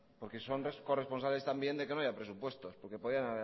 porque son corresponsables también de que no haya presupuestos porque podrían